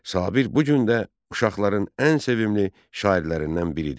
Sabir bu gün də uşaqların ən sevimli şairlərindən biridir.